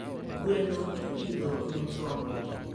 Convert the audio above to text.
gweno ipidho ne tonge.